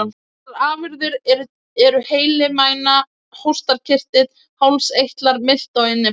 Þessar afurðir eru heili, mæna, hóstarkirtill, hálseitlar, milta og innyfli.